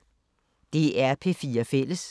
DR P4 Fælles